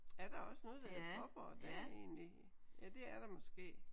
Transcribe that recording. Er der også noget der hedder Fåborg der egentlig? Ja det er der måske